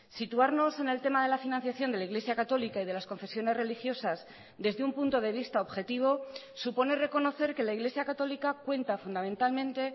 situarnos en el tema de la financiación de la iglesia católica y de las confesiones religiosas desde un punto de vista objetivo supone reconocer que la iglesia católica cuenta fundamentalmente